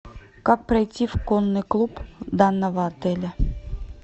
как пройти в конный клуб данного отеля